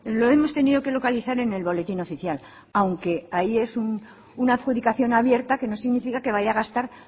lo hemos tenido que localizar en el boletín oficial aunque ahí es una adjudicación abierta que no significa que vaya a gastar